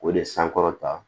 O de sankɔrɔta